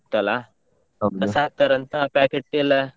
ಇತ್ತಲ್ಲ ಕಸ ಹಾಕ್ತರಂತ packet ಎಲ್ಲ.